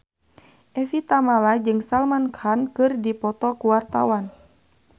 Evie Tamala jeung Salman Khan keur dipoto ku wartawan